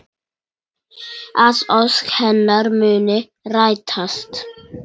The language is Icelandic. Að ósk hennar muni rætast.